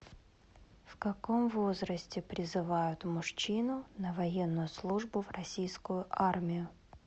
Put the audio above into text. в каком возрасте призывают мужчину на военную службу в российскую армию